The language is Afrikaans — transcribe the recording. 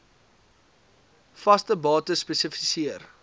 vaste bates spesifiseer